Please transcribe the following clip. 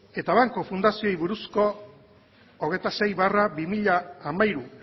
eta banku fundaziori buruzko hogeita sei barra bi mila hamairu